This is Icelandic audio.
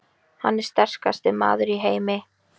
Hann er sterkasti maður í heimi!